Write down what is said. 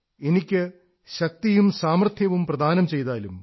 എനിക്ക് ശക്തിയും സാമർഥ്യവും പ്രദാനം ചെയ്താലും